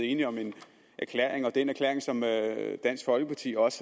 enige om en erklæring og er en erklæring som dansk folkeparti også